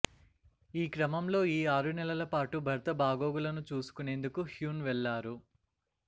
ఈ క్రమంలో ఈ ఆరు నెలల పాటు భర్త బాగోగులను చూసుకునేందుకు హ్యున్ వెళ్లారు